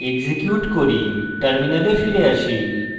execute করি terminal ফিরে আসি